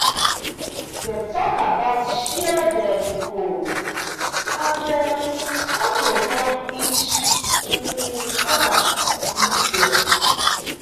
dem talk about shared um goals and um how to help each um other reach them.